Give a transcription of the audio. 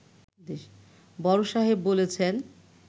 বড় সাহেব বলেছেন